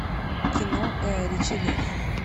кино гая ричи лев